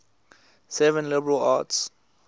seven liberal arts